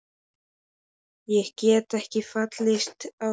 Ég get ekki fallist á tillögur þínar sagði ég.